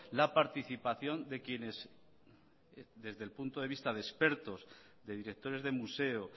la participación de quienes desde el punto de vista de expertos de directores de museo